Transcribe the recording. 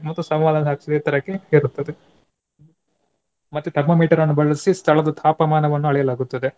ಮತ್ತು ಏರುತ್ತದೆ. ಮತ್ತೆ thermometer ನ್ನು ಬಳಸಿ ಸ್ಥಳದ್ದು ತಾಪಮಾನವನ್ನು ಅಳೆಯಲಾಗುತ್ತದೆ.